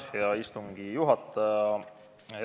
Hea istungi juhataja!